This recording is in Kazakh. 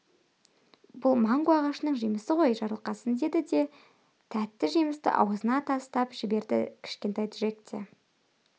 бұл манго ағашының жемісі ғой жарылқасын деді де тәтті жемісті аузына тастап жіберді кішкентай джек те